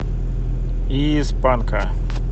из панка